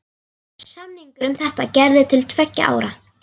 Samningur um þetta var gerður til tveggja ára.